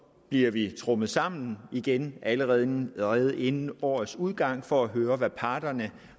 bliver vi trommet sammen igen allerede inden allerede inden årets udgang ja for at høre hvad parterne